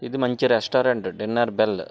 ఇది మంచి restaurant dinner bell .